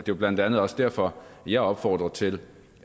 jo blandt andet også derfor jeg opfordrer til